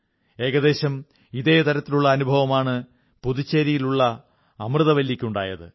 ഏകദേശം ഇതേ തരത്തിലുള്ള അനുഭവമാണ് പുതുച്ചേരിയിലുള്ള അമൃതവല്ലിക്കുണ്ടായത്